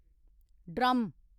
drum